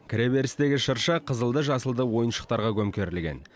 кіреберістегі шырша қызылды жасылды ойыншықтарға көмкерілген